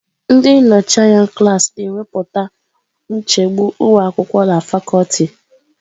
Ndị nnọchi anya klaasị na-ekwupụta nchegbu ụmụ akwụkwọ na fakuti.